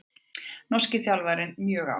Norski þjálfarinn mjög ánægður